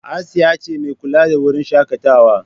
Asiya ce mai kula da wurin shakatawa.